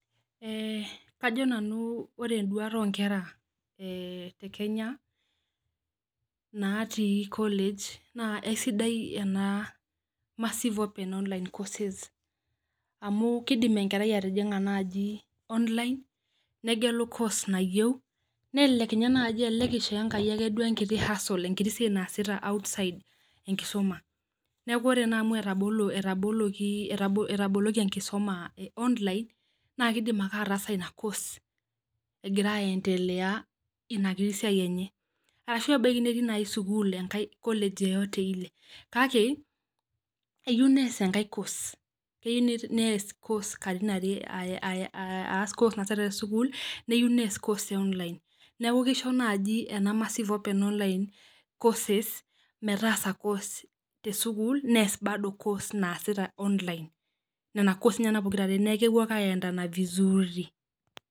Ee kajo nanu ore enduata onkera te kenya natii college na sidai ena massive open kenya courses[cs[ amu kidim enkerai atijinga nai online negelu course nayieu nelelek nye nai isho Enkai enkiti [cs[hustle enkiti siai naasita enkisum neaku ore na amu entaboluokienkisuma e online na kidim ake ataasa ina course egira aendelea inasiai enye, arashu embaki nai netii sukul kake kayieu enaas enkai kos keyieu neas kos katitin are tesukul neyieu neas ekos e online neaku kisho massive open online courses course metaasa kos tesukul neas ake kos naasita te online neaku kepuo ake a endana vizuri